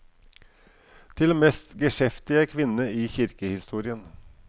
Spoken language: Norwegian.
Til den mest geskjeftige kvinne i kirkehistorien.